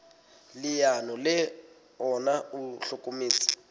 leano le ona o hlokometse